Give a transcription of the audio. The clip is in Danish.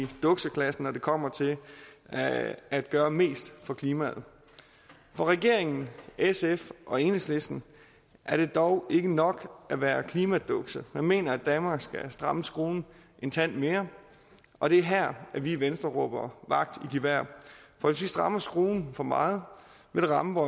dukseklassen når det kommer til at gøre mest for klimaet for regeringen sf og enhedslisten er det dog ikke nok at være klimaduks man mener at danmark skal stramme skruen en tand mere og det er her at vi i venstre råber vagt i gevær for hvis vi strammer skruen for meget vil det ramme